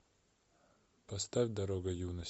поставь дорога юности